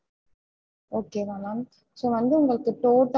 um okay okay